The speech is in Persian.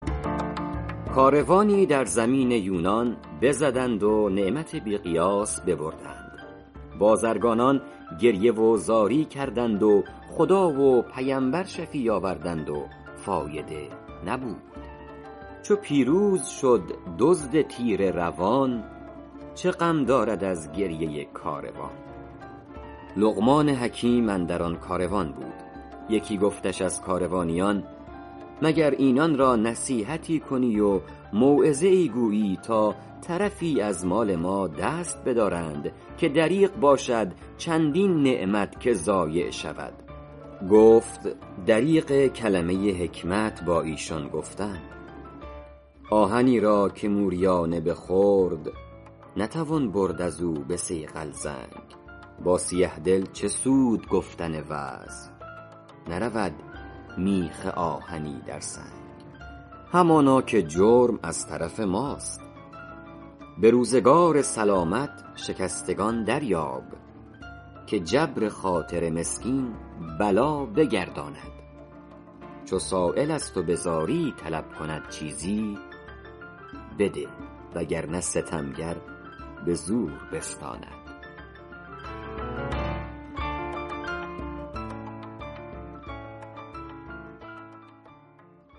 کاروانی در زمین یونان بزدند و نعمت بی قیاس ببردند بازرگانان گریه و زاری کردند و خدا و پیمبر شفیع آوردند و فایده نبود چو پیروز شد دزد تیره روان چه غم دارد از گریه کاروان لقمان حکیم اندر آن کاروان بود یکی گفتش از کاروانیان مگر اینان را نصیحتی کنی و موعظه ای گویی تا طرفی از مال ما دست بدارند که دریغ باشد چندین نعمت که ضایع شود گفت دریغ کلمه حکمت با ایشان گفتن آهنی را که موریانه بخورد نتوان برد از او به صیقل زنگ با سیه دل چه سود گفتن وعظ نرود میخ آهنی در سنگ همانا که جرم از طرف ماست به روزگار سلامت شکستگان دریاب که جبر خاطر مسکین بلا بگرداند چو سایل از تو به زاری طلب کند چیزی بده وگرنه ستمگر به زور بستاند